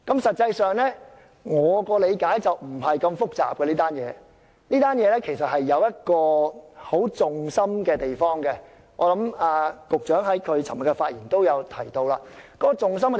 實際上，據我理解，這並非很複雜的事情，當中其實有一個核心之處，而局長在他昨天的發言也提到這一點。